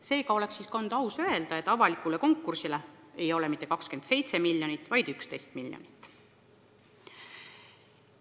Seega oleks olnud aus öelda, et avaliku konkursi tulemusena ei jagata välja mitte 27 miljonit, vaid 11 miljonit.